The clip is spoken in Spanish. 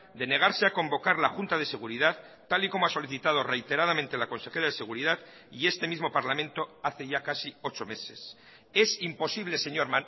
de negarse a convocar la junta de seguridad tal y como ha solicitado reiteradamente la consejera de seguridad y este mismo parlamento hace ya casi ocho meses es imposible señor